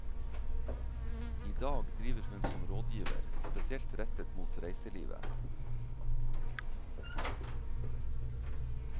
I dag driver hun som rådgiver, spesielt rettet mot reiselivet.